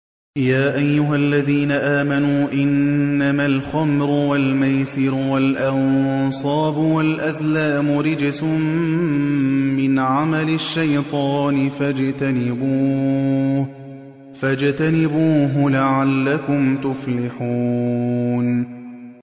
يَا أَيُّهَا الَّذِينَ آمَنُوا إِنَّمَا الْخَمْرُ وَالْمَيْسِرُ وَالْأَنصَابُ وَالْأَزْلَامُ رِجْسٌ مِّنْ عَمَلِ الشَّيْطَانِ فَاجْتَنِبُوهُ لَعَلَّكُمْ تُفْلِحُونَ